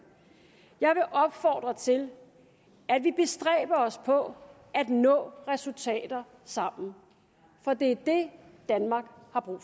jeg vil opfordre til at vi bestræber os på at nå resultater sammen for det er det danmark har brug